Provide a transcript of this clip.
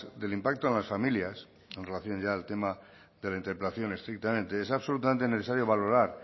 del impacto en las familias en relación ya al tema de la interpelación estrictamente es absolutamente necesario valorar